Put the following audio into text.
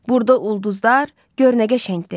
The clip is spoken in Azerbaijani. Burda ulduzlar gör nə qəşəngdir.